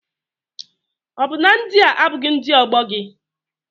Ọ bụ na ndị a abụghị ndị ọgbọ gị?